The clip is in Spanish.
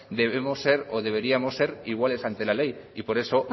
debemos ser o deberíamos ser iguales ante la ley amaitzen joan maneiro jauna por eso